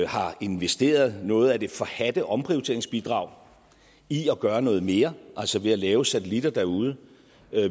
har investeret noget af det forhadte omprioriteringsbidrag i at gøre noget mere altså ved at lave satellitter derude